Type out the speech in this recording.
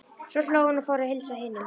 Svo hló hún og fór að heilsa hinum.